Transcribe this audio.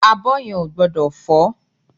Abọ́ yẹn ò gbọ́dọ̀ fọ́